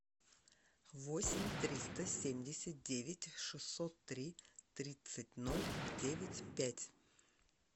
восемь триста семьдесят девять шестьсот три тридцать ноль девять пять